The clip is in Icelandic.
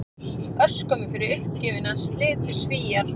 Örskömmu fyrir uppgjöfina slitu Svíar